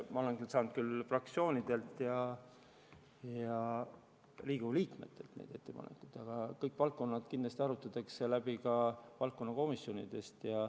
Ma olen saanud küll fraktsioonidelt ja Riigikogu liikmetelt neid ettepanekuid, aga kõik valdkonnad arutatakse kindlasti läbi ka valdkonnakomisjonides.